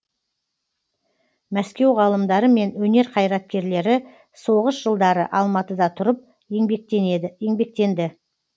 мәскеу ғалымдары мен өнер қайраткерлері соғыс жылдары алматыда тұрып еңбектенді